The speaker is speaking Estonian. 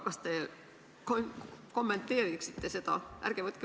Kas te kommenteeriksite seda?